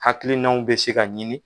Hakilinaw bɛ se ka ɲini